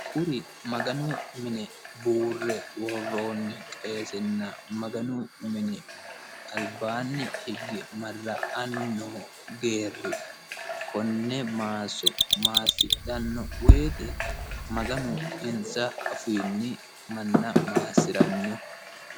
Maganu mine buurre worronni qeessenna albaani higge marra'anni noo geerri konne maasso maasidhano woyte Maganu uyinonsa afiinni manna maassirano.